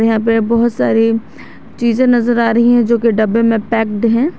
यहां पे बहोत सारी चीजें नजर आ रही है जो की डब्बे में पैक्ड है।